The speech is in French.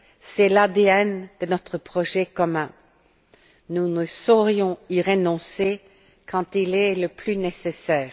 C'est l'ADN de notre projet commun. Nous ne saurions y renoncer quand il est le plus nécessaire.